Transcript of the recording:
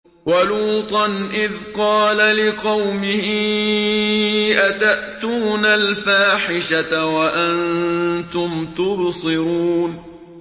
وَلُوطًا إِذْ قَالَ لِقَوْمِهِ أَتَأْتُونَ الْفَاحِشَةَ وَأَنتُمْ تُبْصِرُونَ